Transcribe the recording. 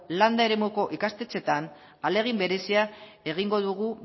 landa eremuko ikastetxeetan ahalegin berezia egingo dugu